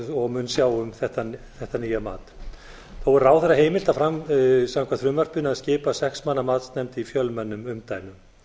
og mun sjá um þetta nýja mat þó er ráðherra heimilt samkvæmt frumvarpinu að skipa sex manna matsnefnd í fjölmennum umdæmum